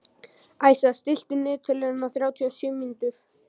Æsa, stilltu niðurteljara á þrjátíu og sjö mínútur.